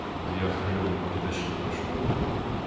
вот и я окрылённый притащил это в школу